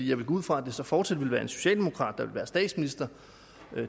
jeg vil gå ud fra at det så fortsat vil være en socialdemokrat der vil være statsminister